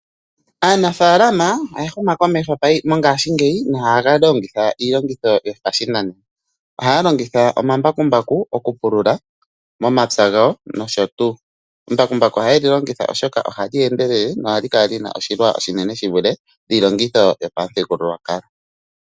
Aanafalama oya huma komeho mongaashi ngeyi nohaalongith iilongithomwa yopashinanena. Ohaalongitha omambakumbaku mokupululitha omapya ngawo nosho tuu, embakumbaku oha yeli longitha oshoka oha lyeendelele lyo olina oshilwa oshinene shivulithe iilongitho yopamuthigululwakalo.